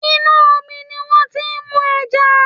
Inú omi ni wọ́n ti ń mú ẹja